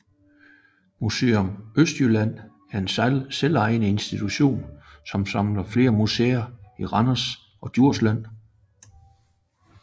Museum Østjylland er en selvejende institution som samler flere museer i Randers og Djursland